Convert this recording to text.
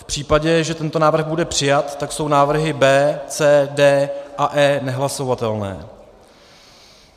V případě, že tento návrh bude přijat, tak jsou návrhy B, C, D a E nehlasovatelné.